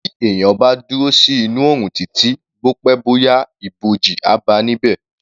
Bí èyàn bá dúró sí inú oòrùn títí, bó pẹ́ bó yá, ibòji, á báa níbẹ̀.